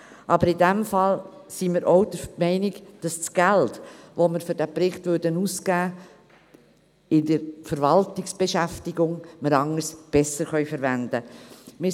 Aber in diesem Fall sind wir auch der Meinung, dass das Geld, das wir für diesen Bericht ausgeben würden, in der Verwaltung anders, besser verwendet werden kann.